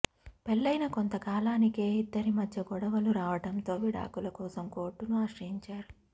పెళ్లయిన కొంత కాలానికే ఇద్దరి మధ్య గొడవలు రావడంతో విడాకుల కోసం కోర్టును ఆశ్రయించారు